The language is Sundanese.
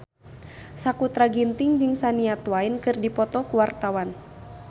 Sakutra Ginting jeung Shania Twain keur dipoto ku wartawan